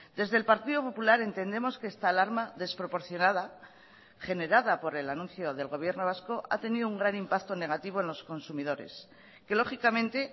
desde el partido popular entendemos que esta alarma desproporcionada generada por el anuncio del gobierno vasco ha tenido un gran impacto negativo en los consumidores que lógicamente